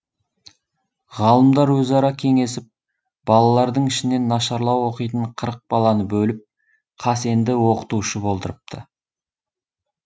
ғалымдар өзара кеңесіп балалардың ішінен нашарлау оқитын қырық баланы бөліп қасенді оқытушы болдырыпты